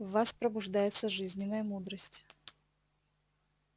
в вас пробуждается жизненная мудрость